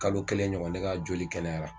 Kalo kɛlɛ ɲɔgɔn, ne ka joli kɛnɛyara